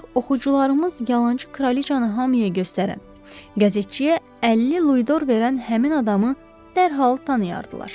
Ancaq oxucularımız yalançı kraliçanı hamıya göstərən qəzetçiyə 50 luidor verən həmin adamı dərhal tanıyardılar.